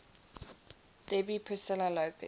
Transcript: debbie priscilla lopez